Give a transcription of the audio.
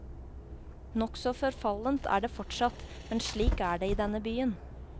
Nokså forfallent er det fortsatt, men slik er det i denne byen.